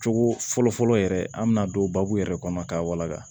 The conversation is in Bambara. Cogo fɔlɔ fɔlɔ yɛrɛ an bɛna don babu yɛrɛ kɔnɔ k'a walaka